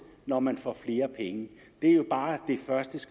når man får flere penge det er bare